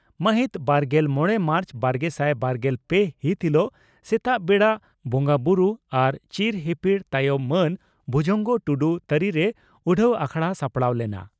ᱢᱟᱦᱤᱛ ᱵᱟᱨᱜᱮᱞ ᱢᱚᱲᱮ ᱢᱟᱨᱪ ᱵᱟᱨᱜᱮᱥᱟᱭ ᱵᱟᱨᱜᱮᱞ ᱯᱮ ᱦᱤᱛ ᱦᱤᱞᱚᱜ ᱥᱮᱛᱟᱜ ᱵᱮᱲᱟ ᱵᱚᱸᱜᱟᱵᱩᱨᱩ ᱟᱨ ᱪᱤᱨ ᱦᱤᱯᱤᱲ ᱛᱟᱭᱚᱢ ᱢᱟᱱ ᱵᱷᱩᱡᱚᱝᱜᱚ ᱴᱩᱰᱩ ᱛᱟᱹᱨᱤᱨᱮ ᱩᱰᱷᱟᱹᱣ ᱟᱠᱷᱲᱟ ᱥᱟᱲᱟᱣ ᱞᱮᱱᱟ ᱾